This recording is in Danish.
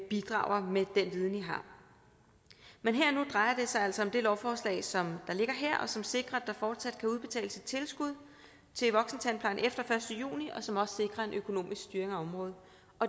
bidrager med den viden de har men her og nu drejer det sig altså om det lovforslag som ligger her og som sikrer at der fortsat kan udbetales et tilskud til voksentandplejen efter den første juni og som også sikrer en økonomisk styring af området